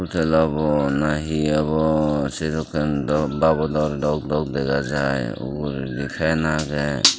tel obow na he obow sedokken dow babodor dok dok dega jai uguredi fan agey.